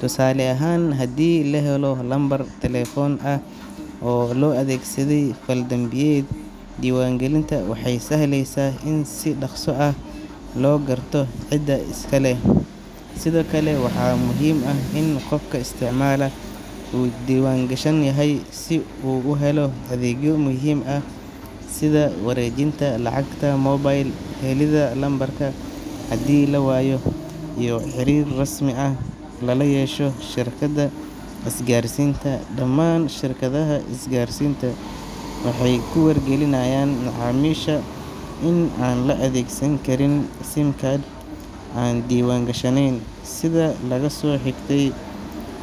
Tusaale ahaan, haddii la helo lambar taleefan ah oo loo adeegsaday fal dambiyeed, diiwaangelinta waxay sahleysaa in si dhakhso ah loo garto cidda iska leh. Sidoo kale, waxaa muhiim ah in qofka isticmaala uu diiwaan gashan yahay si uu u helo adeegyo muhiim ah sida wareejinta lacagta mobile, helidda lambarka haddii la waayo, iyo xiriir rasmi ah oo lala yeesho shirkadda isgaarsiinta. Dhammaan shirkadaha isgaarsiinta waxay ku wargelinayaan macaamiisha in aan la adeegsan karin SIM card aan diiwaan gashanayn. Sida laga soo xigtay hay.